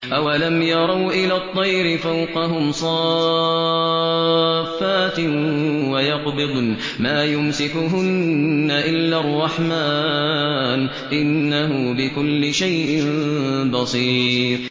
أَوَلَمْ يَرَوْا إِلَى الطَّيْرِ فَوْقَهُمْ صَافَّاتٍ وَيَقْبِضْنَ ۚ مَا يُمْسِكُهُنَّ إِلَّا الرَّحْمَٰنُ ۚ إِنَّهُ بِكُلِّ شَيْءٍ بَصِيرٌ